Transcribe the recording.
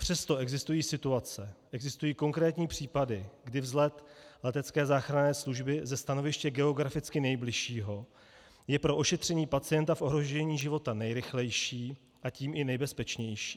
Přesto existují situace, existují konkrétní případy, kdy vzlet letecké záchranné služby ze stanoviště geograficky nejbližšího je pro ošetření pacienta v ohrožení života nejrychlejší, a tím i nejbezpečnější.